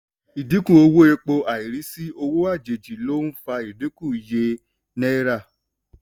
ìdínkù owó epo àìrísí owó àjèjì ló ń fa idinku iye náírà.